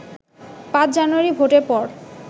৫ জানুয়ারি ভোটের পর